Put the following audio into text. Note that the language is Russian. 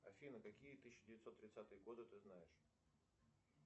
афина какие тысяча девятьсот тридцатые годы ты знаешь